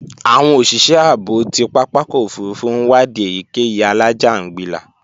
Àwọn òṣìṣẹ́ ààbò ti pápákọ̀ òfurufú ń wadi èyíkéyìí alájàǹgbilà